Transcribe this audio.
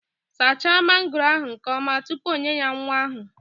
Saacha mangooro ahu nke oma tupu onye ya nwa ahu!